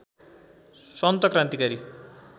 सन्त क्रान्तिकारी